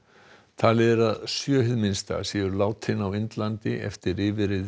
talið er að sjö hið minnsta séu látin á Indlandi eftir yfirreið